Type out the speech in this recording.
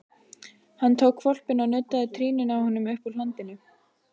Hann tók hvolpinn og nuddaði trýninu á honum uppúr hlandinu.